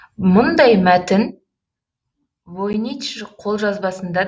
мұндай мәтін войнич қолжазбасында